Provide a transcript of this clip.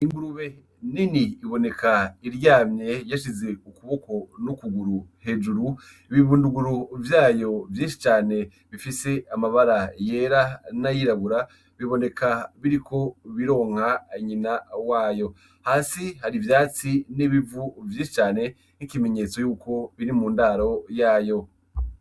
Ingurube nini iboneka iryamye yashize ukuboko n'ukuguru hejuru ibibunduguru vyayo vyinshi cane bifise amabara yera n'ayirabura biboneka biriko bironka anyina wayo hasi hari ivyatsi n'ebivu vyinshi cane nk'ikimenyetso yuko biri mu ndaro yayo.